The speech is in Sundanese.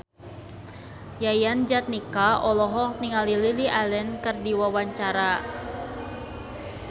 Yayan Jatnika olohok ningali Lily Allen keur diwawancara